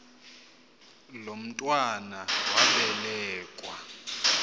lo mntwana wabelekua